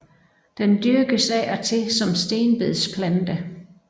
Den dyrkes af og til som stenbedsplante